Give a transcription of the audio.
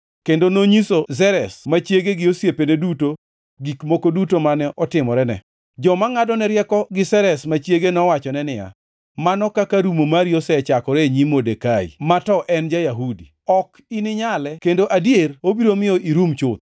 kendo nonyiso Zeresh ma chiege gi osiepene duto gik moko duto mane otimorene. Joma ngʼadone rieko gi Zeresh ma chiege nowachone niya, “Mano kaka rumo mari osechakore e nyim Modekai ma to en ja-Yahudi, ok ininyale kendo adier obiro miyo irum chuth!”